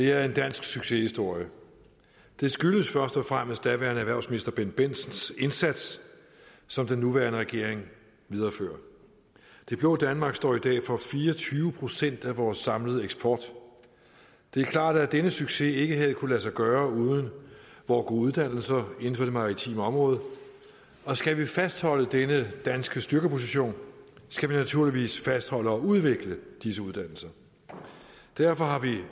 er en dansk succeshistorie det skyldes først og fremmest daværende erhvervsminister bendt bendtsens indsats som den nuværende regering viderefører det blå danmark står i dag for fire og tyve procent af vores samlede eksport det er klart at denne succes ikke havde kunnet lade sig gøre uden vore gode uddannelser inden for det maritime område og skal vi fastholde denne danske styrkeposition skal vi naturligvis fastholde og udvikle disse uddannelser derfor har vi